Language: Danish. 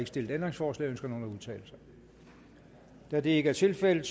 stillet ændringsforslag ønsker nogen at udtale sig da det ikke er tilfældet